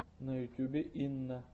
на ютубе инна